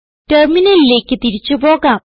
ടെർമിനലിലേക്ക് തിരിച്ചു പോകാം